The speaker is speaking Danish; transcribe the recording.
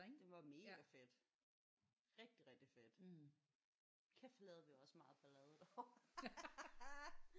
Det var mega fedt. Rigtig rigtig fedt. Kæft hvor lavede vi også meget ballade derovre